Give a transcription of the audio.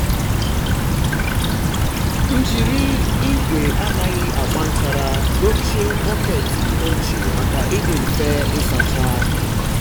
m jiri igwe anaghị agba nchara um dochie bọket ochie um maka ịdị mfe ịsacha. um